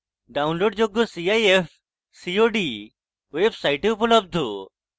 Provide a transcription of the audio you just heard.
ডাউনলোডযোগ্য cif cod website উপলব্ধ